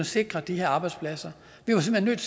sikre de her arbejdspladser vi var simpelt